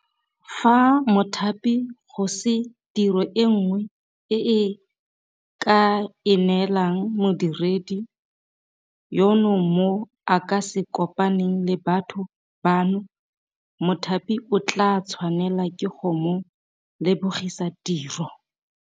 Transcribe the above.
Fa mothapi go se tiro e nngwe e a ka e neelang modiredi yono mo a ka se kopaneng le batho bano, mothapi o tla tshwanelwa ke go mo lebogisa tiro.